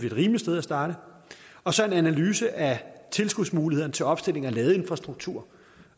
et rimeligt sted at starte og så en analyse af tilskudsmulighederne til opstilling af ladeinfrastruktur